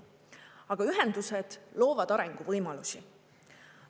Aga ühendused loovad arenguvõimalusi.